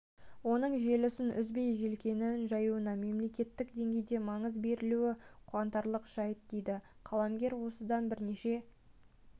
оның желісін үзбей желкенін жаюына мемлекеттік деңгейде маңыз берілуі қуанарлық жайт дейді қаламгерлер осыдан бірнеше